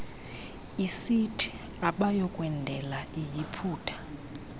isithi abayokwendela eyiputa